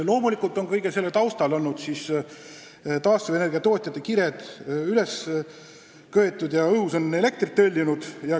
Loomulikult on kõige selle taustal olnud taastuvenergia tootjate kired üles köetud ja õhus on elektrit hõljunud.